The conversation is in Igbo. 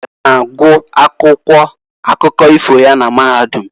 A na-agụ akwụkwọ akụkọ ifo ya na mahadum.